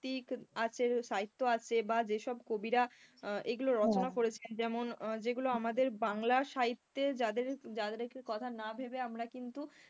তিক আছে সাহিত্য আছে বা যেসব কবিরা আহ এগুলো রচনা করেছেন যেমন যেগুলো আমাদের বাংলার সাহিত্যে যাদের যাদেরকে কথা না ভেবে আমরা কিন্তু,